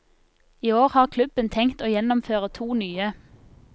I år har klubben tenkt å gjennomføre to nye.